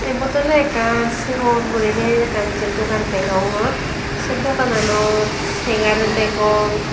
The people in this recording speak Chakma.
ebot oly akkan segon guri ney akken jey dogan denyogor say daga nanot segar dagong.